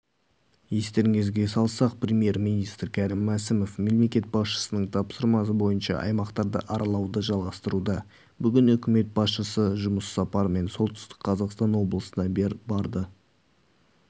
естеріңізге салсақ премьер-министрі кәрім мәсімов мемлекет басшысының тапсырмасы бойынша аймақтарды аралауды жалғастыруда бүгін үкімет басшысы жұмыс сапарымен солтүстік қазақстан облысына барды